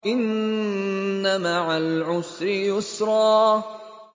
إِنَّ مَعَ الْعُسْرِ يُسْرًا